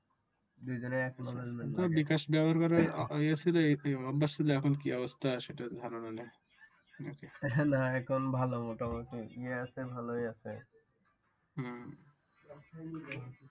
দুজনেরই একনলেজমেন্ট লাগে তো বিকাশ ব্যবহার করে অভ্যাসটা করা সেটার কি অবস্থা সেটার ধারণা দেন না এখন ভালো মোটামুটি ইয়ে আছে ভালো আছে